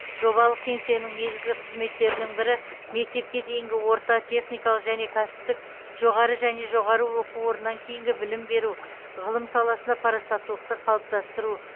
жобалық кеңсенің негізгі қызметтерінің бірі мектепке дейінгі орта техникалық және кәсіптік жоғары және жоғары оқу орнынан кейінгі білім беру ғылым саласында парасаттылықты қалыптастыру